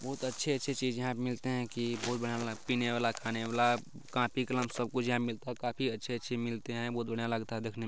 बहुत अच्छे-अच्छे चीज यहां पर मिलते है कि बहुत बढ़िया-बढ़िया पीने वाला खाने वाला कॉपी कलम सब कुछ यहां मिलता काफी अच्छे-अच्छे मिलते है बहुत बढ़िया लगता है देखने मे।